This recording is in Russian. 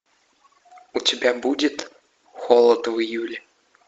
у тебя будет холод в июле